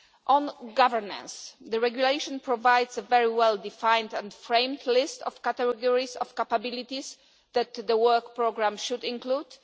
On governance the regulation provides a very well defined and framed list of categories of capabilities that the work programme should include.